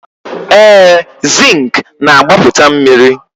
ee, zinc na-agbapụta mmiri